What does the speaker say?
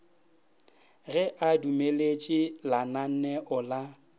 ge a dumeletše lananeo la